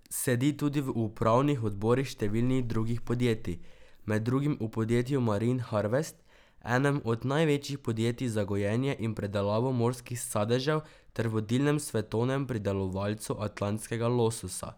Sedi tudi v upravnih odborih številnih drugih podjetij, med drugim v podjetju Marine Harvest, enem od največjih podjetji za gojenje in predelavo morskih sadežev ter vodilnem svetovnem pridelovalcu atlantskega lososa.